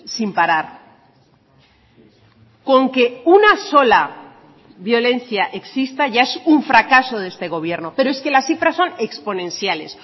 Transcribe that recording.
sin parar con que una sola violencia exista ya es un fracaso de este gobierno pero es que las cifras son exponenciales